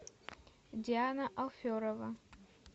диана алферова